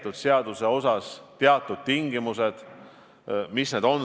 Testide tegemine on ju laienenud, see võimekus on kasvanud.